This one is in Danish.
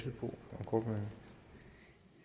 have